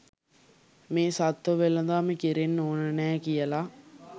මේ සත්ත්ව වෙළදාම කෙරෙන්න ඕන නෑ කියලා.